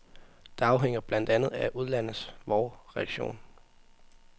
Det afhænger blandt andet af udlandets, vor, reaktion.